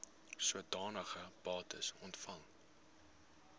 sodanige bates ontvang